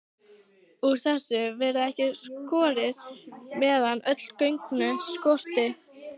Úr þessu verður ekki skorið, meðan öll gögn skortir.